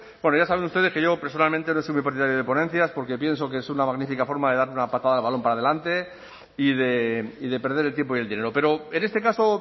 bueno ya saben ustedes que yo personalmente no soy muy partidario de ponencias porque pienso que es una magnífica forma de dar una patada al balón para adelante y de perder el tiempo y el dinero pero en este caso